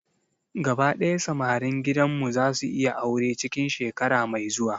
Gaba daya samarin gidan mu zasu yi aure cikin shekara mai zuwa